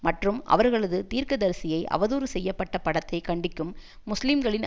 மற்றும் அவர்களது தீர்க்கதரிசியை அவதூறு செய்ய பட்ட படத்தை கண்டிக்கும் முஸ்லீம்களின்